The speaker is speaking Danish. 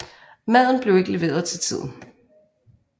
Maden bliver ikke leveret til tiden